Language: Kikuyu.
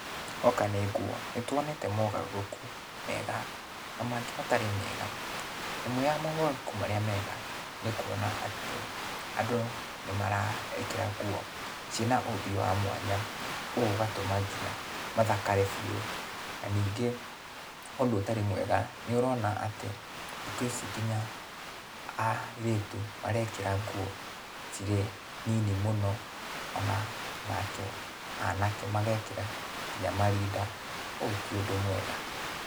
Hoka nĩ nguo, nĩtuonete mogarũrũku mega, na mangĩ matarĩ mega. Ĩmwe ya mogarũrũku marĩa mega, nĩ kuona atĩ andũ nĩmarekĩra ngũo ciĩna ũmbi wa mwanya, ũũ ũgatũma kinya mathakare biũ. Na ningĩ, ũndũ ũtarĩ mwega, nĩũrona atĩ thiku ici kinya airĩtu marekĩra nguo cirĩ nini mũno ona nake anake magekĩra kinya marinda, ũyũ ti ũndũ mwega.